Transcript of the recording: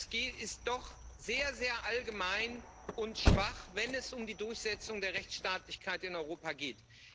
Es ist doch sehr sehr allgemein und schwach, wenn es um die Durchsetzung der Rechtstaatlichkeit in Europa geht.